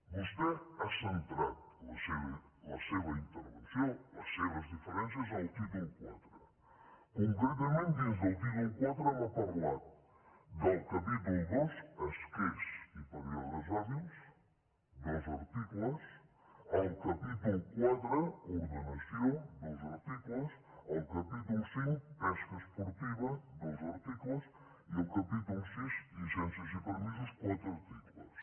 vostè ha centrat la seva intervenció les seves diferències en el títol iv concretament dins del títol iv m’ha parlat del capítol ii esquers i períodes hàbils dos articles el capítol iv ordenació dos articles el capítol v pesca esportiva dos articles i el capítol vi llicències i permisos quatre articles